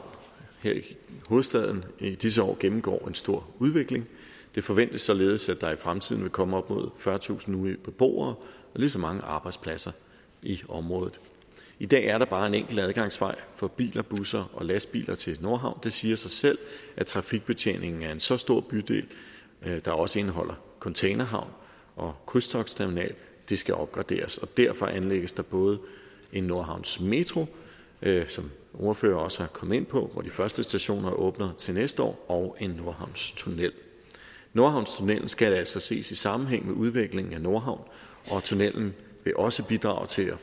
her i hovedstaden i disse år gennemgår en stor udvikling det forventes således at der i fremtiden vil komme op mod fyrretusind nye beboere og lige så mange arbejdspladser i området i dag er der bare en enkel adgangsvej for biler busser og lastbiler til nordhavn det siger sig selv at trafikbetjeningen af en så stor bydel der også indeholder containerhavn og krydstogtterminal skal opgraderes derfor anlægges nordhavnsmetroen som ordførerne også er kommet ind på hvor de første stationer åbner til næste år og en nordhavnstunnel nordhavnstunnellen skal altså ses i sammenhæng med udviklingen af nordhavn og tunnellen vil også bidrage til at